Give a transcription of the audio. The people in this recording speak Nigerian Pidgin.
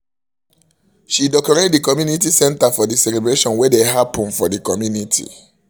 she decorate the community center for the celebration wey dey happen for the community